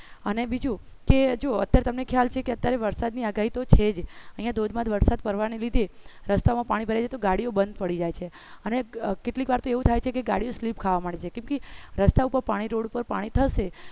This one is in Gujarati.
અને બીજું કે જો અત્યારે તમને ખ્યાલ છે કે અત્યારે વરસાદની આગાહી તો છે ધોધમાર વરસાદ પડવાની લીધે રસ્તામાં પાણી ભરે છે તો ગાડીઓ બંધ પડી જાય છે અને કેટલીક વાર તો એવું થાય છે કે ગાડી slip ખાવા માટે છે કેટલી રસ્તા ઉપર પાણી રોડ ઉપર પાણી થશે